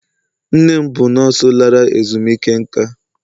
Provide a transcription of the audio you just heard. nne m bụ nọọsụ lara ezumike nka.